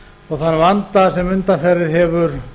og þann vanda sem undanfarið hefur